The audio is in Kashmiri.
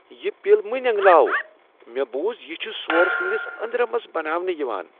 یہ پِل مہ نینگلاو ۔ مےٚ بوُز یہِ چھِ سورٕ سنٛدس اندرمس بناونہٕ یوان۔